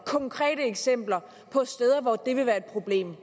konkrete eksempler på steder hvor det vil være et problem